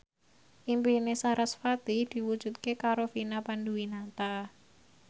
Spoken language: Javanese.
impine sarasvati diwujudke karo Vina Panduwinata